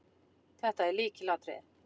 Þetta er lykilatriði